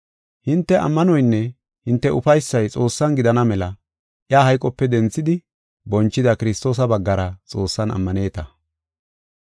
Hinte ammanoynne hinte ufaysay Xoossan gidana mela iya hayqope denthidi, bonchida Kiristoosa baggara Xoossan ammaneta.